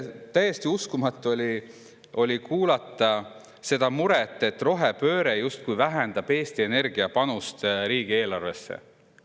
Täiesti uskumatu oli kuulda seda muret, et rohepööre justkui vähendab Eesti Energia panust riigieelarvesse.